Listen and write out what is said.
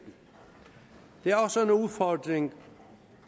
det er også en udfordring